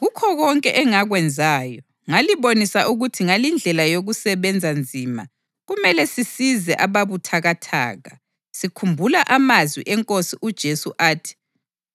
Kukho konke engakwenzayo ngalibonisa ukuthi ngalindlela yokusebenza nzima kumele sisize ababuthakathaka, sikhumbula amazwi eNkosi uJesu athi,